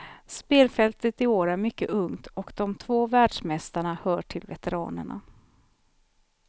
Spelfältet i år är mycket ungt, och de två världsmästarna hör till veteranerna.